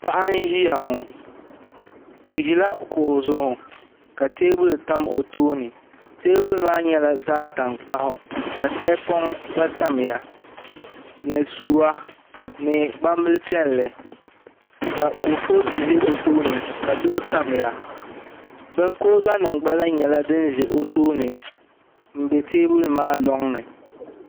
Paɣa n ʒiya ŋo o ʒila kuɣu zuɣu ka teebuli tam o tooni teebuli maa nyɛla zaɣ tankpaɣu ka tahapoŋ gba tamya ni suwa ni gbambili piɛlli ka kurifooti ʒɛ o tooni ka duɣu tamya kuriga nim gba lahi nyɛla din ʒɛ o tooni n bɛ teebuli maa loŋni